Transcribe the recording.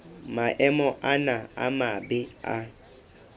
maemo ana a mabe a